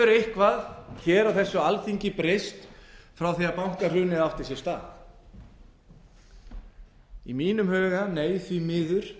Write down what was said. eitthvað á þessu alþingi breyst frá því að bankahrunið átti sér stað í mínum huga nei því miður